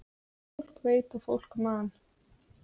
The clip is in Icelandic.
En fólk veit og fólk man.